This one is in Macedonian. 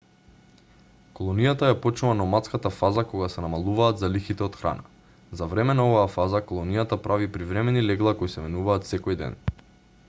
колонијата ја почнува номадската фаза кога се намалуваат залихите од храна за време на оваа фаза колонијата прави привремени легла кои се менуваат секој ден